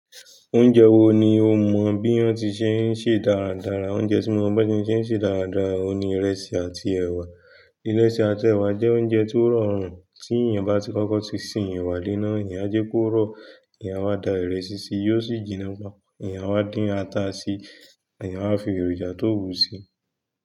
Oúnjẹ wo ni o mọ bí wọ́n ti ń ṣe ṣe dáradára? Oúnjẹ tí mo mọ̀ bí wọ́n ti ń ṣe dáradára òun ni ìrẹsì àti ẹ̀wà. Ìrẹsì àti ẹwà jẹ́ oúnjẹ tó rọrùn. Tí èèyàn bá ti kọ́kọ́ ti sin ẹwà le'ná, èèyàn á jẹ́ kó rọ̀. Èèyàn a wa da ìrẹsì sí, yóò sì jiná pọ. Èèyàn a wa dín ata sí, èyàn wa fi èròjà tó wù sí i.